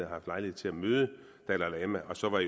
haft lejlighed til at møde dalai lama og så var